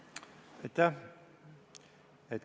Aitäh!